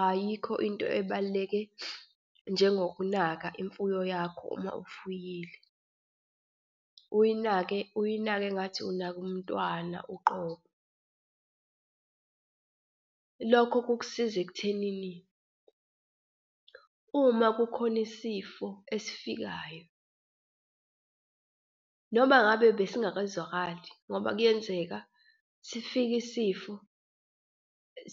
Ayikho into ebaluleke njengokunaka imfuyo yakho uma ufuyile. Uyinake, uyinake engathi unake umntwana uqobo. Lokho kukusiza ekuthenini uma kukhona isifo esifikayo noma ngabe besingakazwakali ngoba kuyenzeka sifike isifo